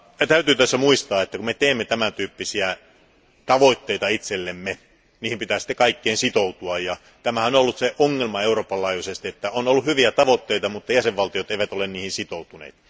Täytyy kuitenkin muistaa, että kun me asetamme tämäntyyppisiä tavoitteita itsellemme, niihin pitää kaikkien sitoutua. Tämä on ollut ongelmana Euroopan laajuisesti, että on ollut hyviä tavoitteita, mutta jäsenvaltiot eivät ole niihin sitoutuneet.